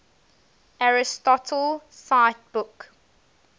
aristotle cite book